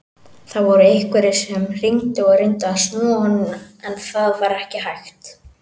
Það voru einhverjir sem hringdu og reyndu að snúa honum en það var ekki hægt.